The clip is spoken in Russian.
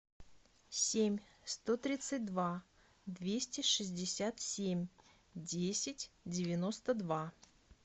семь сто тридцать два двести шестьдесят семь десять девяносто два